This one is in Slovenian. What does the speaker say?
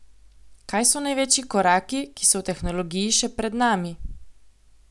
Kaj so največji koraki, ki so v tehnologiji še pred nami?